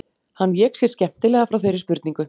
Hann vék sér skemmtilega frá þeirri spurningu.